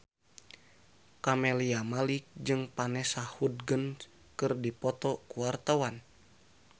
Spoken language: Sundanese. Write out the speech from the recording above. Camelia Malik jeung Vanessa Hudgens keur dipoto ku wartawan